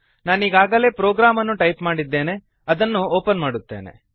ನಾನೀಗಾಗಲೇ program ಅನ್ನು type ಮಾಡಿದ್ದೇನೆ ಅದನ್ನು ಒಪನ್ ಮಾದುತ್ತೇನೆ